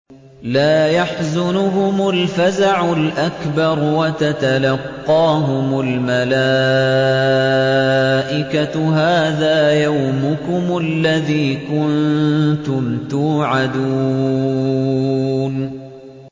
لَا يَحْزُنُهُمُ الْفَزَعُ الْأَكْبَرُ وَتَتَلَقَّاهُمُ الْمَلَائِكَةُ هَٰذَا يَوْمُكُمُ الَّذِي كُنتُمْ تُوعَدُونَ